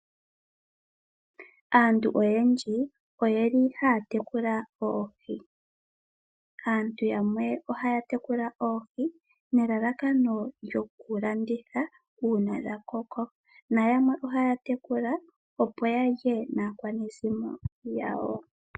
Aantu oyendji oyeli haya tekula oohi. Aantu yamwe ohaya tekula oohi nelalakano lyokulanditha uuna dha koko. Nayamwe ohaya tekula opo ya lye naakwanezimo yawo.